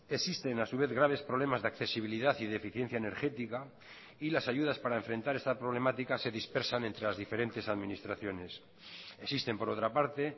existen a su vez graves problemas de accesibilidad y de eficiencia energética y las ayudas para enfrentar esta problemática se dispersan entre las diferentes administraciones existen por otra parte